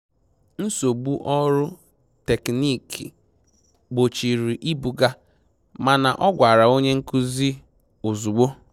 Nsogbu ọrụ teknịkị gbochiri ibuga, mana ọ gwara onye nkụzi ozugbo